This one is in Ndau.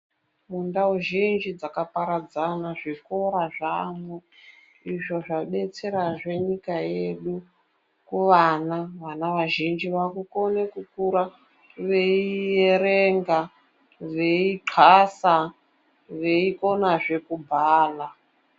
Mundau zhinji dzakaparadzana zvikora zvaamo..Izvo zvabetserazve nyika yedu kuvana. Vana vazhinji vakukone kukura veierenga, kuxasa veikonazve kubhala.